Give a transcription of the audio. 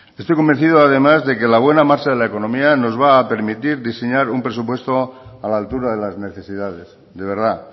estoy convencido además de que la buena marcha de la economía nos va a permitir diseñar un presupuesto a la altura de las necesidades de verdad